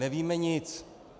Nevíme nic.